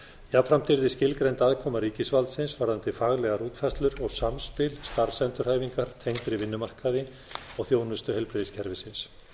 jafnframt yrði skilgreind aðkoma ríkisvaldsins varðandi faglegar útfærslur og samspil starfsendurhæfingar tengdri vinnumarkaði og þjónustu heilbrigðiskerfisins